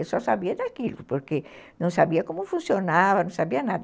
Eu só sabia daquilo, porque não sabia como funcionava, não sabia nada.